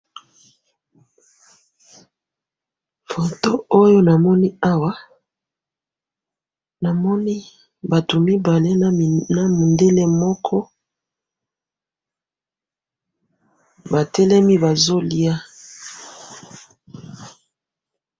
Foto oyo namoni awa, namoni batu mibale nami, namundele moko, batelemi bazoliya.